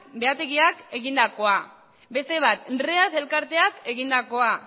behategiak egindakoa beste bat reas elkarteak egindakoa